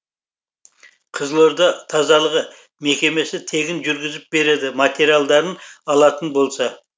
қызылорда тазалығы мекемесі тегін жүргізіп береді материалдарын алатын болса